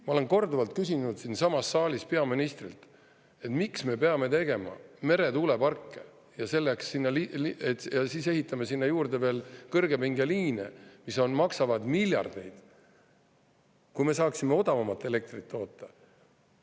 Ma olen korduvalt küsinud siinsamas saalis peaministrilt, miks me peame tegema meretuuleparke ja siis ehitama sinna juurde veel kõrgepingeliine, mis maksavad miljardeid, kui me saaksime odavamat elektrit toota.